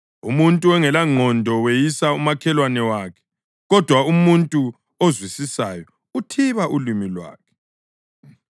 Umuntu ongelangqondo weyisa umakhelwane wakhe, kodwa umuntu ozwisisayo uthiba ulimi lwakhe.